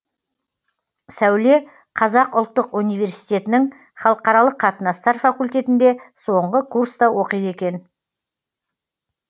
сәуле қазақ ұлттық университетінің халықаралық қатынастар факультетінде соңғы курста оқиды екен